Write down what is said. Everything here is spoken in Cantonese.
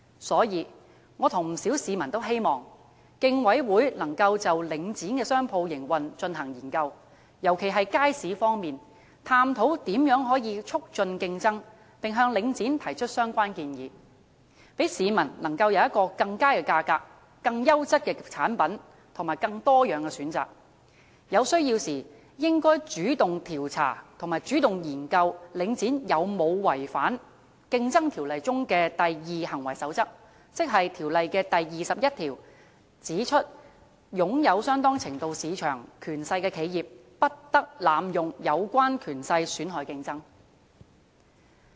所以，我和不少市民均希望，競委會能夠就領展的商鋪營運進行研究，尤其是街市方面，探討如何能夠促進競爭，並向領展提出相關建議，讓市民能夠享有更佳的價格、更優質的產品，以及更多樣的選擇；有需要時，應該主動調查和研究領展有否違反《競爭條例》中的"第二行為守則"，即《競爭條例》第21條所指，擁有相當程度市場權勢的企業，不得濫用有關權勢損害競爭。